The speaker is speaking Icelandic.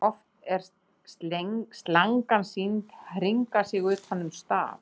oft er slangan sýnd hringa sig utan um staf